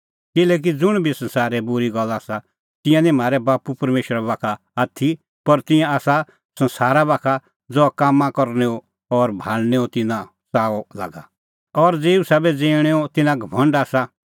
किल्हैकि ज़ुंण बी संसारै बूरी गल्ला आसा तिंयां निं म्हारै बाप्पू परमेशरा बाखा का आथी पर तिंयां आसा संसारा बाखा ज़हा कामां करनैओ और भाल़णेंओ तिन्नां च़ाअ लागा और ज़ेऊ साबै ज़िऊंणेंओ तिन्नां घमंड आसा